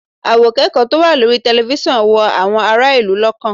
Àwòkẹ́kọ̀ọ́ tó wà lórí tẹlifíṣọ̀n wú àwọn ará ìlú lọ́kàn